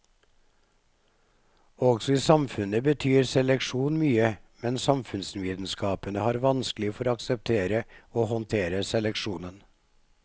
Også i samfunnet betyr seleksjon mye, men samfunnsvitenskapene har vanskelig for å akseptere og håndtere seleksjon.